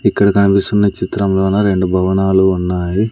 ఇక్కడ కనిపిస్తున్న చిత్రంలోన రెండు భవనాలు ఉన్నాయి.